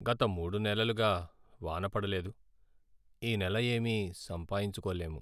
గత మూడు నెలలుగా వాన పడలేదు. ఈ నెల ఏమీ సంపాయించుకోలేము.